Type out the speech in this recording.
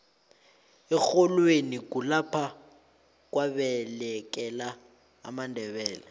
erholweni kulapha kwabalekela amandebele